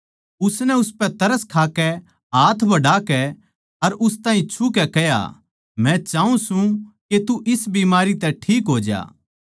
उसनै उसपै तरस खाकै हाथ बढ़ाकै अर उस ताहीं छु कै कह्या मै चाऊँ सूं के तू इस बीमारी तै ठीक हो ज्या